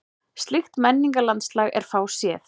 Slíkt menningarlandslag er fáséð.